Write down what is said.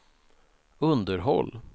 underhåll